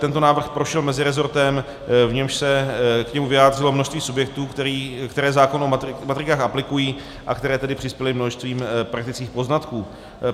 Tento návrh prošel meziresortem, v němž se k němu vyjádřilo množství subjektů, které zákon o matrikách aplikují, a které tedy přispěly množstvím praktických poznatků.